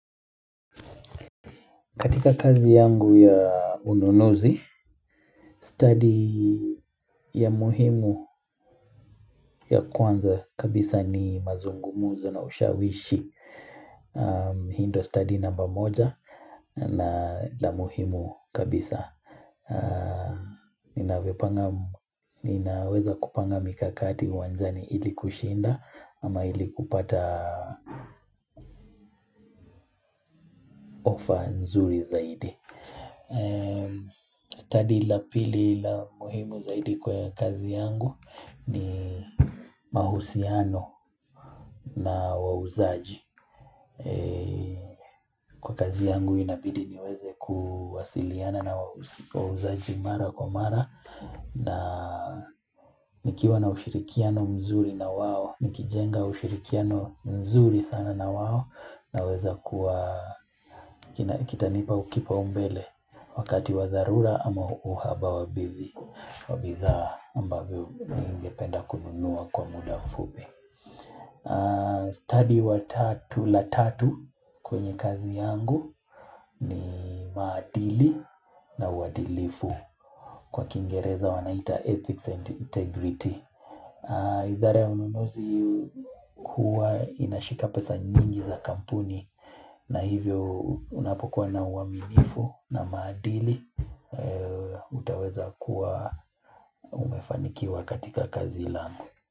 Katika kazi yangu ya ununuzi, stadi ya muhimu ya kwanza kabisa ni mazungumuzo na ushawishi. Hii ndo stadi namba moja na la muhimu kabisa. Ninaweza kupanga mikakati uwanjani ili kushinda ama ili kupata offer nzuri zaidi. Study la pili la muhimu zaidi kwa kazi yangu ni mahusiano na wauzaji Kwa kazi yangu inabidi niweze kuwasiliana na wauzaji mara kwa mara na nikiwa na ushirikiano mzuri na wao Nikijenga ushirikiano mzuri sana na wao naweza kuwa kitanipa kipaumbele wakati wa dharura ama uhaba wa bidhaa ambavyo ningependa kununua kwa muda mfupi. Study la tatu kwenye kazi yangu ni maadili na uadilifu kwa kiingereza wanaita ethics and integrity. Idhara ya ununuzi huwa inashika pesa nyingi za kampuni na hivyo unapokuwa na uaminifu na maadili utaweza kuwa umefanikiwa katika kazi langu.